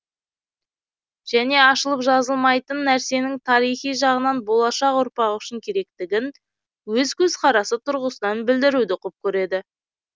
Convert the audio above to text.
және ашылып жазылмайтын нәрсенің тарихи жағынан болашақ ұрпақ үшін керектігін өз көзқарасы тұрғысынан білдіруді құп көреді